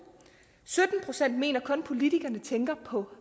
sytten procent mener kun at politikere tænker på